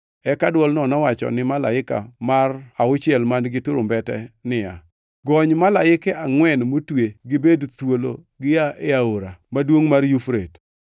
Eka dwolno nowacho ni malaika mar auchiel man-gi turumbete niya, “Gony malaike angʼwen motwe gibed thuolo gia e aora maduongʼ mar Yufrate.”